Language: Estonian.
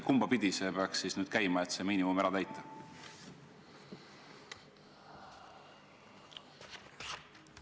Kumbapidi see peaks käima, et see miinimum ära täita?